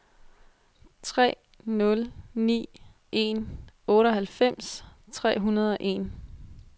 tre nul ni en otteoghalvfems tre hundrede og en